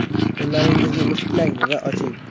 Qo‘llaringizni mushtlang va oching.